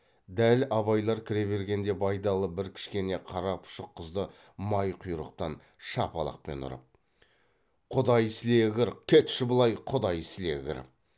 дәл абайлар кіре бергенде байдалы бір кішкене қара пұшық қызды май құйрықтан шапалақпен ұрып құдай сілегір кетші былай құдай сілегір